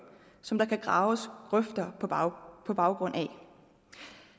som der kan graves grøfter på baggrund baggrund af